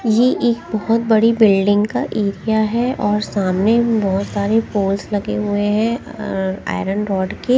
ये एक बहुत बड़ी बिल्डिंग का एरिया है और सामने बहुत सारे फोल्स लगे हुए हैं आयरन रोड के।